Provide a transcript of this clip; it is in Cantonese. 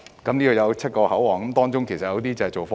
這裏設有7個口岸，當中有些是用作貨運。